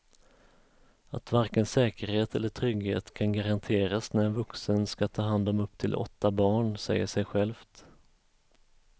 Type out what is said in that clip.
Att varken säkerhet eller trygghet kan garanteras när en vuxen ska ta hand om upp till åtta barn säger sig självt.